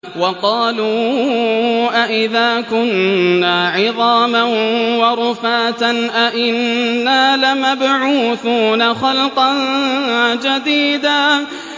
وَقَالُوا أَإِذَا كُنَّا عِظَامًا وَرُفَاتًا أَإِنَّا لَمَبْعُوثُونَ خَلْقًا جَدِيدًا